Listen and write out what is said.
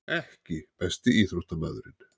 EKKI besti íþróttamaðurinn?